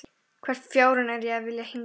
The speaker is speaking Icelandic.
Hvern fjárann er ég að vilja hingað?